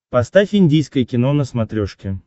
поставь индийское кино на смотрешке